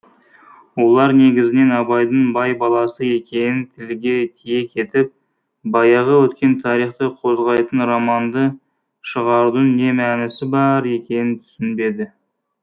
олар негізінен абайдың бай баласы екенін тілге тиек етіп баяғы өткен тарихты қозғайтын романды шығарудың не мәнісі бар екенін түсінбеді